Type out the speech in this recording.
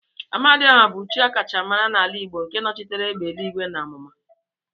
Amadiọha bụ chi akacha mara n'ala Igbo nke nochitere egbe eluigwe na amụma.